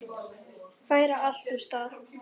Færa allt úr stað.